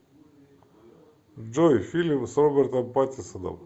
джой фильм с робертом патисоном